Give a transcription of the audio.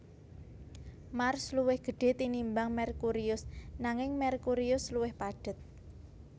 Mars luwih gedhé tinimbang Merkurius nanging Merkurius luwih padhet